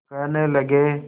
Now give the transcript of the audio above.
कहने लगे